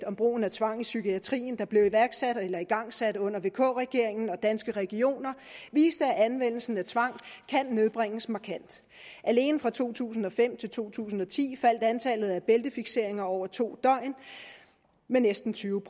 om brugen af tvang i psykiatrien der blev igangsat under vk regeringen sammen med danske regioner viser at anvendelsen af tvang kan nedbringes markant alene fra to tusind og fem til to tusind og ti faldt antallet af bæltefikseringer over to døgn med næsten tyve